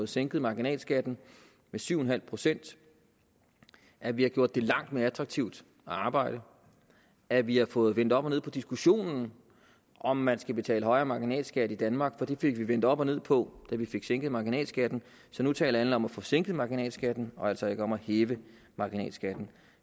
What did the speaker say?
sænket marginalskatten med syv en halv pct at vi har gjort det langt mere attraktivt at arbejde at vi har fået vendt op og ned på diskussionen om man skal betale højere marginalskat i danmark for det fik vi vendt op og ned på da vi fik sænket marginalskatten så nu taler alle om at få sænket marginalskatten og altså ikke om at hæve marginalskatten